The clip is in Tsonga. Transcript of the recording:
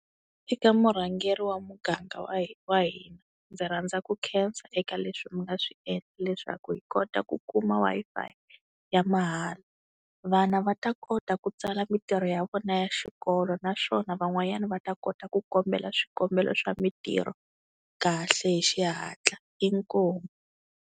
Eka murhangeri wa muganga wa wa hina. Ndzi rhandza eku khensa eka leswi mi nga swi endla leswaku hi kota ku kuma Wi-Fi ya mahala vana va ta kota ku tsala mintirho ya vona ya xikolo, naswona van'wanyana va ta kota ku kombela swikombelo swa mintirho kahle hi xihatla hi inkomu.